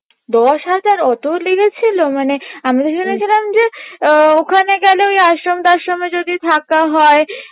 দশ হাজার অত লেগেছিলো মানে আমরা ভেবেছিলাম যে আহ ওখানে গেলে ওই আশ্রম টাশ্রামে যদি থাকা হয়